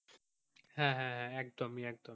হাঁ একদম একদম ই।